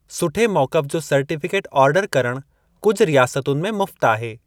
सुठे मौक़फ़ु जो सर्टीफ़िकेट आर्डरु करणु कुझु रियासतुनि में मुफ़्त आहे।